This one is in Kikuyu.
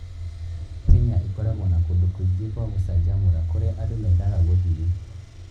Kenya ĩkoragwo na kũndũ kũingĩ kwa gũcanjamũra kũrĩa andũ mendaga gũthiĩ.